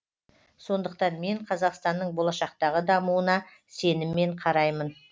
сондықтан мен қазақстанның болашақтағы дамуына сеніммен қараймын